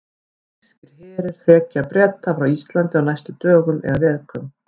Þýskir herir hrekja Breta frá Íslandi á næstu dögum eða vikum.